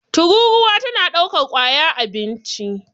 tururuwa tana daukar kwaya abinci